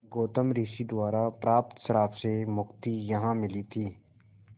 गौतम ऋषि द्वारा प्राप्त श्राप से मुक्ति यहाँ मिली थी